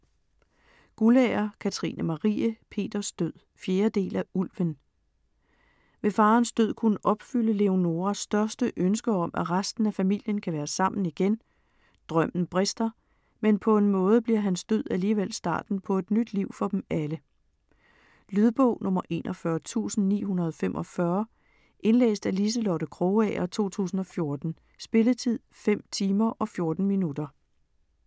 Guldager, Katrine Marie: Peters død 4. del af Ulven. Vil faderens død kunne opfylde Leonoras største ønske om, at resten af familien kan være sammen igen? Drømmen brister, men på en måde bliver hans død alligevel starten på et nyt liv for dem alle. Lydbog 41945 Indlæst af Liselotte Krogager, 2014. Spilletid: 5 timer, 14 minutter.